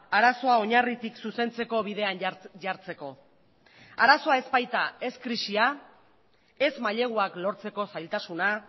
arazoa oinarritik zuzentzeko bidean jartzeko arazoa ez baita ez krisia ez maileguak lortzeko zailtasuna